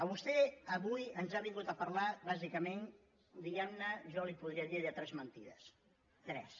vostè avui ens ha vingut a parlar bàsicament diguem ne jo li podria dir de tres mentides tres